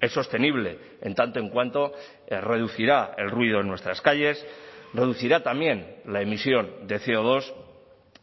es sostenible en tanto en cuanto reducirá el ruido en nuestras calles reducirá también la emisión de ce o dos